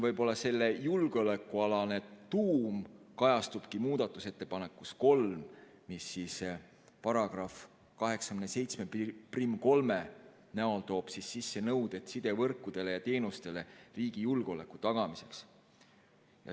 Võib-olla selle julgeolekualane tuum kajastub muudatusettepanekus nr 3, mis § 873 näol toob sisse nõuded sidevõrkudele ja -teenustele riigi julgeoleku tagamiseks.